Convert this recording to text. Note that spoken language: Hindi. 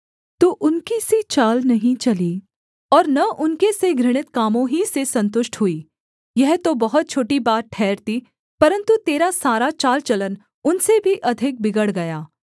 तू उनकी सी चाल नहीं चली और न उनके से घृणित कामों ही से सन्तुष्ट हुई यह तो बहुत छोटी बात ठहरती परन्तु तेरा सारा चाल चलन उनसे भी अधिक बिगड़ गया